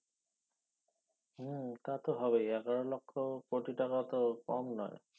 হ্যাঁ তাতো হবে এগারো লক্ষ কোটি টাকা তো কম নয়